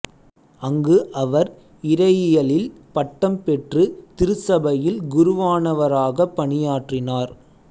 அங்கு அவர் இறையியலில் பட்டம் பெற்று திருச்சபையில் குருவானவராகப் பணியாற்றினார்